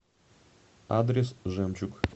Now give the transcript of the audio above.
адрес жемчуг